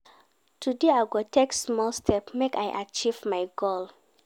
Today I go take small step make I achieve my goal.